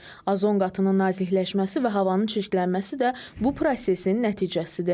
Ozon qatının nazikləşməsi və havanın çirklənməsi də bu prosesin nəticəsidir.